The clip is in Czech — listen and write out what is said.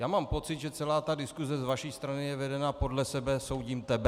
Já mám pocit, že celá ta diskuse z vaší strany je vedena "podle sebe soudím tebe".